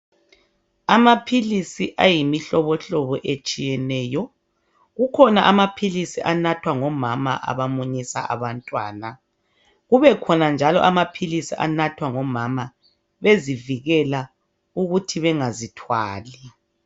Amaphilisi ayimihlobohlobo etshiyeneyo. Kukhona amaphilisi anathwa ngomama abamunyisa abantwana, kukhona njalo amaphilisi anathwa ngomama bezivikela ukuthi bangazithwali.